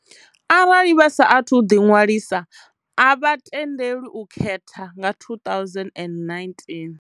Arali vha saathu ḓiṅwalisa, a vha tendelwi u khetha nga 2019.